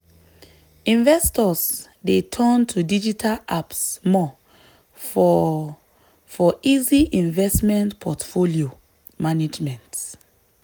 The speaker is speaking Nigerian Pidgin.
investors dey turn to digital apps more for for easy investment portfolio management.